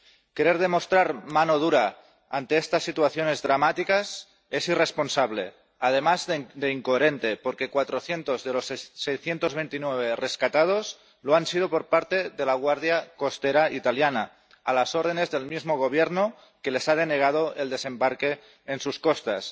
Querer demostrar mano dura ante estas situaciones dramáticas es irresponsable, además de incoherente, porque 400 de los 629 rescatados lo han sido por parte de la Guardia Costera italiana, a las órdenes del mismo Gobierno que les ha denegado el desembarque en sus costas.